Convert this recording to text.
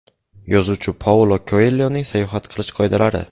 Yozuvchi Paulo Koelyoning sayohat qilish qoidalari.